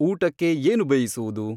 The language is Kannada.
ಊಟಕ್ಕೆ ಏನು ಬೇಯಿಸುವುದು